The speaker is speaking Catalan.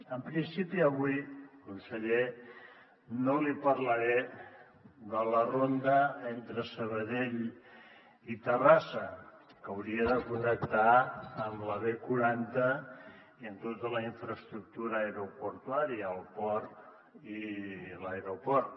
en principi avui conseller no li parlaré de la ronda entre sabadell i terrassa que hauria de connectar amb la b quaranta i amb tota la infraestructura aeroportuària el port i l’aeroport